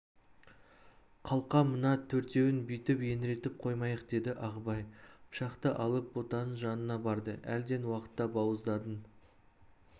қалқам мына төртеуін бүйтіп еңіретіп қоймайық деді ағыбай пышақты алып ботаның жанына барды әлден уақытта бауыздадың